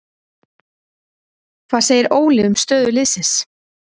Hvað segir Óli um stöðu liðsins?